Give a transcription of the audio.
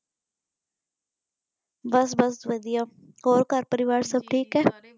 ਬੱਸ ਬੱਸ ਵਧੀਆ ਹੋਰ ਘਰ ਪਰਿਵਾਰ ਸਬਠੀਕ ਹੈ।